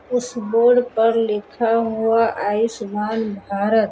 उस बोर्ड पर लिखा हुआ आयुष्मान भारत।